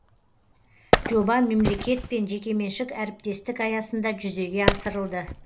жоба мемлекет пен жекеменшік әріптестік аясында жүзеге асырылды